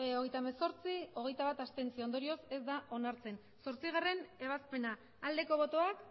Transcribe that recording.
hogeita hemezortzi abstentzioak hogeita bat ondorioz ez da onartzen zortzigarrena ebazpena aldeko botoak